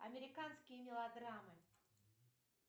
американские мелодрамы